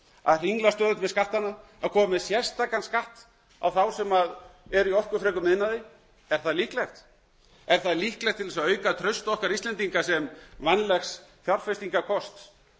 að hringla stöðugt með skattana að koma með sérstakan skatt á þá sem eru í orkufrekum iðnaði er það líklegt til að auka traust okkar íslendinga sem vænlegs fjárfestingarkosts